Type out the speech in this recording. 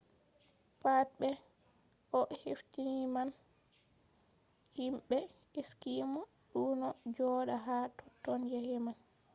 pat be ko o hefti man himɓe eskimo ɗonno joɗa ha totton yake man